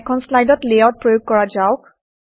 এখন শ্লাইডত লেআউট প্ৰয়োগ কৰা যাওক